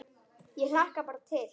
Ég hlakka bara til!